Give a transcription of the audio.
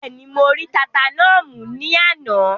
Bẹ́ẹ̀ni, mo rí tata náà mú ní àná?